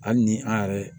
Hali ni an yɛrɛ